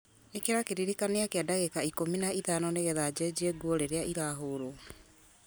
ĩkĩra kĩririkania kĩa ndagĩka ikũmi na ithano nĩgetha njenjie nguo rĩrĩa irahũrwo